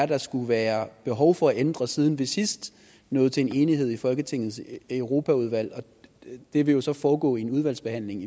der skulle være behov for at ændre siden vi sidst nåede til en enighed i folketingets europaudvalg det vil jo så foregå i en udvalgsbehandling